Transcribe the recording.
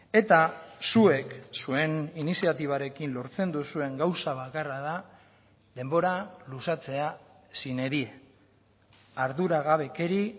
eta zuek zuen iniziatibarekin lortzen duzuen gauza bakarra da denbora luzatzea sine die arduragabekeri